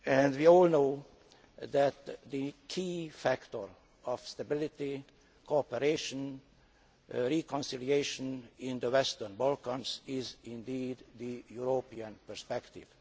We all know that the key factor of stability, cooperation and reconciliation in the Western Balkans is indeed the European perspective.